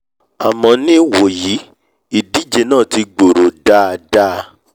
àmọ́ ní ìwòyí ìdíje náà ti gbòòrò dáadáa